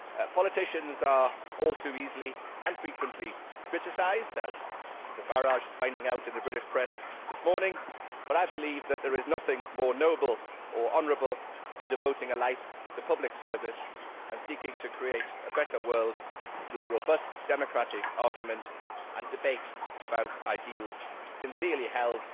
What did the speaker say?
Politicians are all too easily and frequently criticised, as Mr Farage is finding out in the British press this morning, but I believe there is nothing more noble or honourable than devoting a life to public service and seeking to create a better world through robust, democratic, argument and debate about ideals sincerely held,